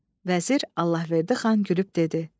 Vəzir Allahverdi xan gülüb dedi: